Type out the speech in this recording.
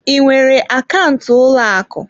Ị nwere akaụntụ ụlọ akụ?